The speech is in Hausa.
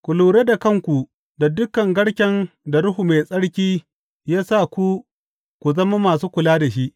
Ku lura da kanku da dukan garken da Ruhu Mai Tsarki ya sa ku ku zama masu kula da shi.